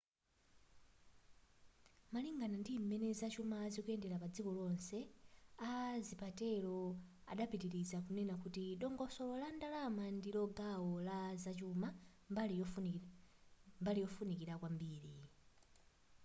malingana ndim'mene zachuma zikuyendera padziko lonse a zapatero adapitiliza kunena kuti dongosolo la ndalama ndilo gawo la zachuma mbali yofunika kwambiri